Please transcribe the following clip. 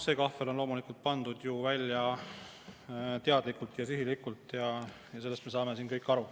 See kahvel on loomulikult pandud ju välja teadlikult ja sihilikult, sellest me saame siin kõik aru.